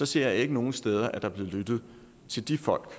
ser jeg ikke nogen steder at der er blevet lyttet til de folk